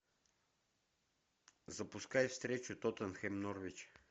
запускай встречу тоттенхэм норвич